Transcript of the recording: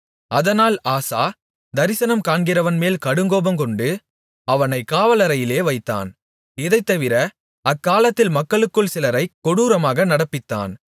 அதனால் ஆசா தரிசனம் காண்கிறவன்மேல் கடுங்கோபங்கொண்டு அவனைக் காவலறையிலே வைத்தான் இதைத்தவிர அக்காலத்தில் மக்களுக்குள் சிலரைக் கொடூரமாக நடப்பித்தான்